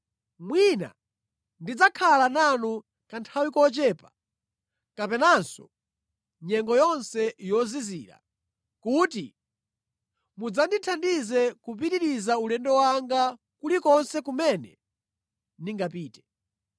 Mwina ndidzakhala nanu kanthawi kochepa kapenanso nyengo yonse yozizira, kuti mudzandithandize kupitiriza ulendo wanga kulikonse kumene ndingapite.